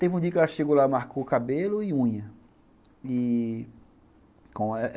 Teve um dia que ela chegou lá, marcou o cabelo e unha e